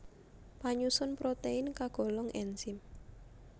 Panyusun protein kagolong enzim